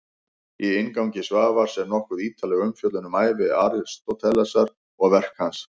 Í inngangi Svavars er nokkuð ítarleg umfjöllun um ævi Aristótelesar og verk hans.